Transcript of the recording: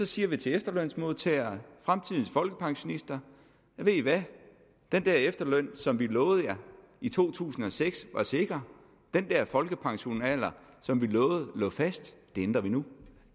siger vi til efterlønsmodtagerne fremtidens folkepensionister ved i hvad den der efterløn som vi lovede jer i to tusind og seks var sikker den der folkepensionsalder som vi lovede lå fast ændrer vi nu